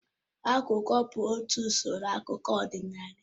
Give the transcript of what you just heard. Agwụgwa bụkwa otú usoro akụkọ ọdịnala